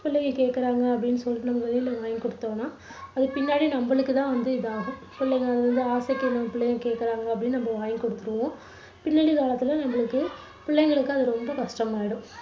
பிள்ளைங்க கேக்குறாங்க அப்படின்னு சொல்லிட்டு நம்ப வெளியில வாங்கி கொடுத்தோம்னா அது பின்னாடி நம்பளுக்கு தான் வந்து இதாகும். பிள்ளைங்க வந்து, ஆசைக்கு நம்ப பிள்ளைங்க கேக்குறாங்க அப்படின்னு நம்ப வாங்கி கொடுத்துடுவோம். பின்னாடி காலத்துல நம்பளுக்கு, பிள்ளைங்களுக்கு அது ரொம்ப கஷ்டமாயிடும்